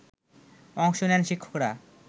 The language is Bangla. অংশ নেন শিক্ষকরা